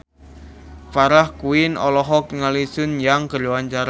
Farah Quinn olohok ningali Sun Yang keur diwawancara